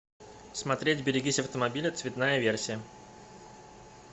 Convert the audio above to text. смотреть берегись автомобиля цветная версия